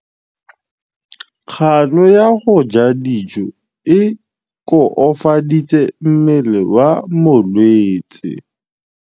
Kganô ya go ja dijo e koafaditse mmele wa molwetse.